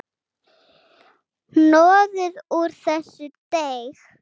Hnoðið úr þessu deig.